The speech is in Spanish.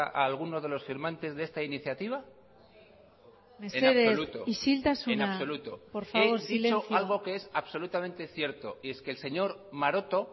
a alguno de los firmantes de esta iniciativa mesedez isiltasuna por favor silencio en absoluto en absoluto es algo que es absolutamente cierto y es que el señor maroto